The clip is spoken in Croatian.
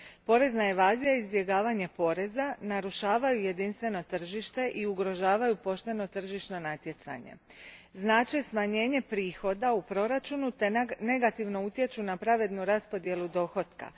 Porezna evazija i izbjegavanje poreza narušavaju jedinstveno tržište i ugrožavaju pošteno tržišno natjecanje, znače smanjenje prihoda u proračunu te negativno utječu na pravednu raspodjelu dohotka.